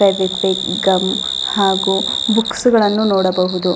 Fevikwik gum ಹಾಗು books ಗಳನ್ನೂ ನೋಡಬಹುದು.